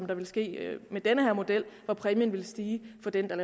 vil ske med den her model hvor præmien vil stige for den der